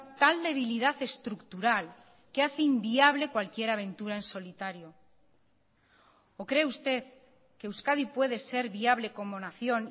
tal debilidad estructural que hace inviable cualquier aventura en solitario o cree usted que euskadi puede ser viable como nación